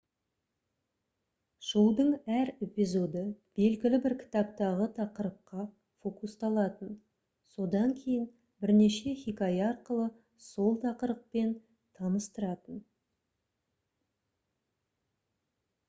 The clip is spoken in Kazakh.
шоудың әр эпизоды белгілі бір кітаптағы тақырыпқа фокусталатын содан кейін бірнеше хикая арқылы сол тақырыппен таныстыратын